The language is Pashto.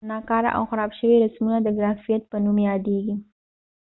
ناکاره او خراب شوي رسمونه د ګرافیت په نوم یادېږي